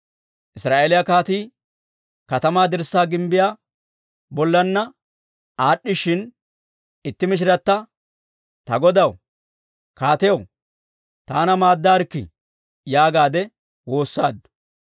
Israa'eeliyaa kaatii katamaa dirssaa gimbbiyaa bollanna aad'd'ishshin, itti mishirata, «Ta godaw, kaatiyaw, taana maaddaarikkii» yaagaadde waassaaddu.